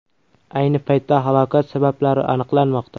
Ayni paytda halokat sabablari aniqlanmoqda.